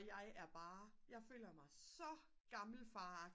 jeg er bare jeg føler mig så gammelfar